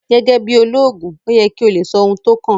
Gẹ́gẹ́ bí olóògùn ó yẹ kí o lè sọ ohun tó kàn